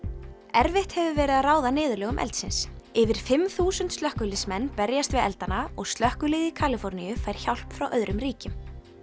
erfitt hefur verið að ráða niðurlögum eldsins yfir fimm þúsund slökkviliðsmenn berjast við eldana og slökkviliðið í Kaliforníu fær hjálp frá öðrum ríkjum